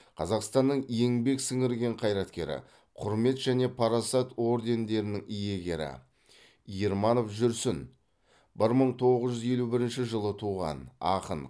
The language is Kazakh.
қазақстанның еңбек сіңірген қайраткері құрмет және парасат ордендерінің иегері ерманов жүрсін бір мың тоғыз жүз елу бірінші жылы туған